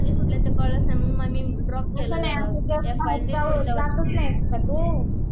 काय, बाहेर जातच नाहीस का तु ?